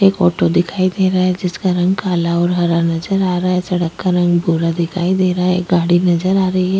एक ऑटो दिखाई दे रहा है जिसका रंग काला और हरा नजर आ रहा है सड़क का रंग भूरा दिखाई दे रहा है एक गाड़ी नजर आ रही है ।